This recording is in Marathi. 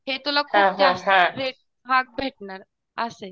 हे तुला खूप जास्त रेट महाग भेटणार असे